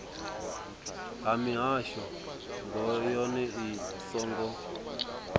ha mishongo yohe i songo